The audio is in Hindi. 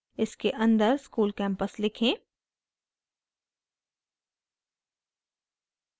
इसे अंदर school campus लिखें